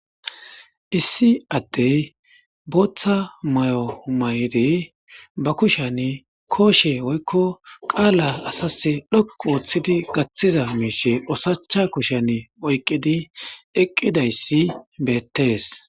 1addey bootha mayo mayid ba kushen koshe woyko qala asas dhoqu othid gathiza mishe oshacha kushen oykid eqidays betes.